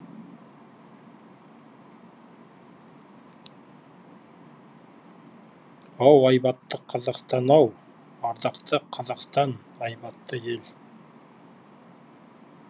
ау айбатты қазақстан ау ардақты қазақстан айбатты ел